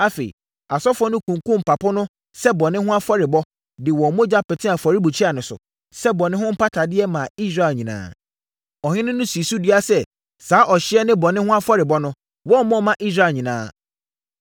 Afei, asɔfoɔ no kunkumm mpapo no sɛ bɔne ho afɔrebɔ, de wɔn mogya petee afɔrebukyia no so, sɛ bɔne ho mpatadeɛ maa Israel nyinaa. Ɔhene no sii so dua sɛ, saa ɔhyeɛ ne bɔne ho afɔrebɔ no, wɔmmɔ mma Israel nyinaa.